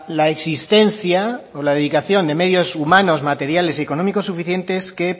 la existencia o la dedicación de medios humanos materiales y económicos suficientes que